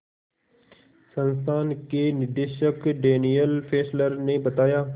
संस्थान के निदेशक डैनियल फेस्लर ने बताया